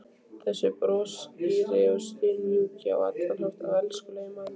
Þessi broshýri og stimamjúki og á allan hátt elskulegi maður!